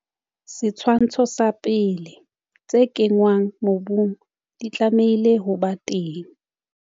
Setshwantsho 1. Tse kenngwang mobung di tlamehile ho ba teng.